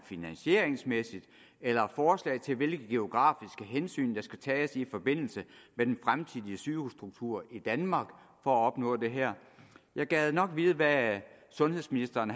finansieringsmæssigt eller forslag til hvilke geografiske hensyn der skal tages i forbindelse med den fremtidige sygehusstruktur i danmark for at opnå det her jeg gad nok vide hvad sundhedsministeren